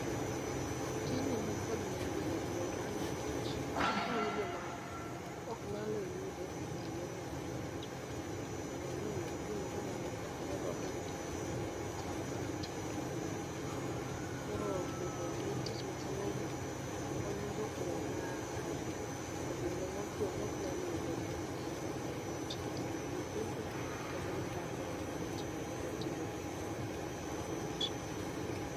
Tijni nikod nengo e alwora nkech, okonyo joma ok nyalo yudo pi e yorno mayot. Mondo omi oyud pi ma ginyalo konyre go ka gitimo gikmoko machalo kaka tedo, lwok. Koro bedo gi tich machal ainani, konyo jogweng' ma ae e gwenge motwo ma ok nyal yudo pi e yorno mayot. Kitero negi pi, kendo gikawo koro ginyalo timogo tijegi mag ot.